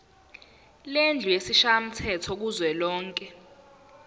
lendlu yesishayamthetho kuzwelonke